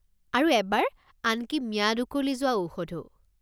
আৰু এবাৰ আনকি ম্যাদ উকলি যোৱা ঔষধো।